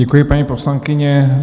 Děkuji, paní poslankyně.